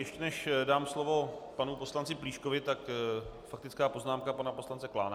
Ještě než dám slovo panu poslanci Plíškovi, tak faktická poznámka pana poslance Klána.